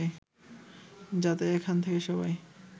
যাতে এখান থেকে সবাই